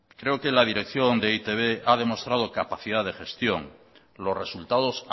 creo que la dirección de e i te be ha demostrado capacidad de gestión los resultados